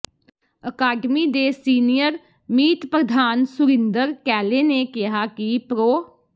academy ਦੇ senior ਮੀਤ ਪ੍ਰਧਾਨ ਸੁਰਿੰਦਰ ਕੈਲੇ ਨੇ ਕਿਹਾ ਕਿ ਪ੍ਰੋ